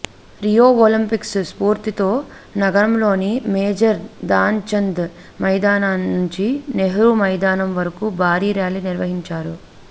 Rio Olympics స్ఫూర్తితో నగరంలోని major Dhyanchand మైదానంనుంచి నెహ్రూ మైదానం వరకు భారీ ర్యాలీ నిర్వహించారు